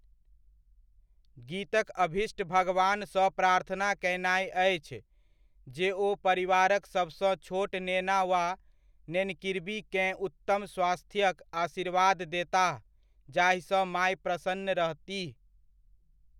गीतक अभीष्ट भगवानसँ प्रार्थना कयनाइ अछि जे ओ परिवारक सबसँ छोट नेना वा नेनकिरबीकेँ उत्तम स्वास्थ्यक आशीर्वाद देताह जाहिसँ माय प्रसन्न रहतीह।